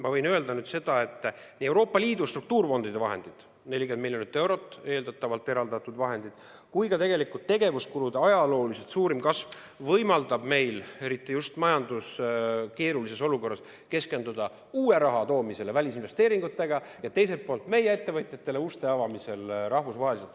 Ma võin öelda, et Euroopa Liidu struktuurifondide vahendid, 40 miljonit eurot, eeldatavalt eraldatud vahendid, ja ka tegevuskulude ajalooliselt suurim kasv võimaldab meil eriti just keerulises majandusolukorras keskenduda uue raha toomisele välisinvesteeringute abil ja teiselt poolt rahvusvaheliselt meie ettevõtjatele uste avamisele.